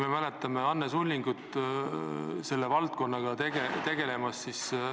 Me mäletame Anne Sullingut selle valdkonnaga tegelemas.